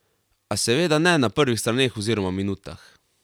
A seveda ne na prvih straneh oziroma minutah.